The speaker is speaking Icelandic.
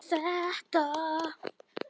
Þeir Kjartan sjá þetta.